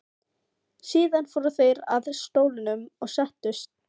Síðan fóru þeir að stólunum og settust.